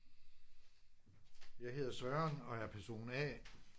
Jeg hedder Søren og er person A